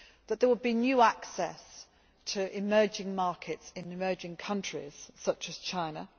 there would be new access to emerging markets in emerging countries, such as China